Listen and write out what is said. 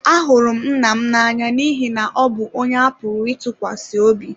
Ahụrụ m nna m n'anya n'ihi na ọ bụ onye a pụrụ ịtụkwasị obi.